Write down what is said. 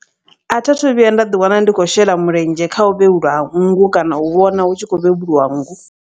A thi athu vhuya nda ḓi wana ndi khou shela mulenzhe kha u vhevhulwa ha nngu kana u vhona hu tshi khou vhevhuliwa nngu.